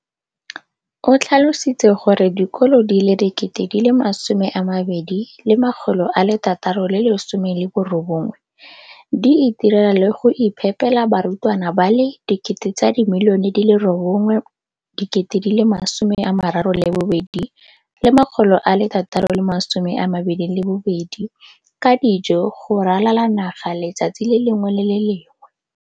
O tlhalositse gore dikolo di le 20 619 di itirela le go iphepela barutwana ba le 9 032 622 ka dijo go ralala naga letsatsi le lengwe le le lengwe.